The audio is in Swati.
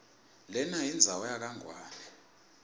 lenayindzawo yakangwane